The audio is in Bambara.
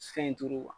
Fɛn in turu